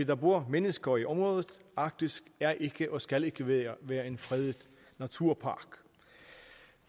der bor mennesker i området arktis er ikke og skal ikke være være en fredet naturpark